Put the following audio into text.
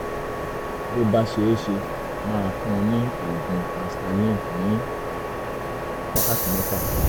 bó bá ṣeé ṣe máa fún un ní oògùn asthalin ní wákàtí mẹ́fà